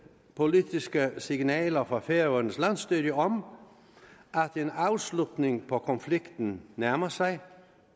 politiske signaler fra færøernes landsstyre om at en afslutning på konflikten nærmer sig